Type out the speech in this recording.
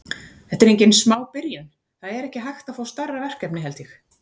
Þetta er engin smá byrjun, það er ekki hægt að fá stærra verkefni held ég.